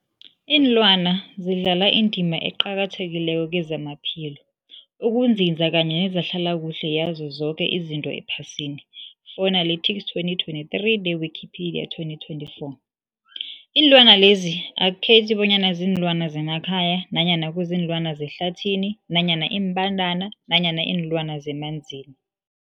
Iinlwana zidlala indima eqakathekileko kezamaphilo, ukunzinza kanye nezehlala kuhle yazo zoke izinto ephasini, Fuanalytics 2023, ne-Wikipedia 2024. Iinlwana lezi akukhethi bonyana ziinlwana zemakhaya nanyana kuziinlwana zehlathini nanyana iimbandana nanyana iinlwana zemanzini.